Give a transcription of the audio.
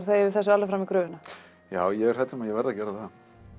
þegja yfir þessu alveg fram í gröfina já ég er hræddur um að ég verði að gera það